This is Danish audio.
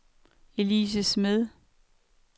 Elise Smed